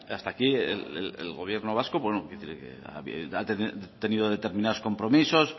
hasta aquí el gobierno vasco ha tenido determinados compromisos